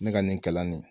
Ne ka nin kalan nin